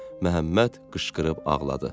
Məhəmməd qışqırıb ağladı.